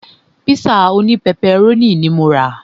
Pízà òní pẹpẹrónì ní mo rà.